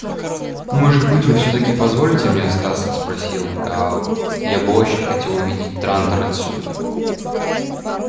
может быть вы всё-таки позволите мне остаться просил гаал я бы очень хотел увидеть трантор отсюда